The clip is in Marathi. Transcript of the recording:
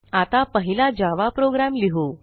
आता पहिला जावा प्रोग्राम लिहू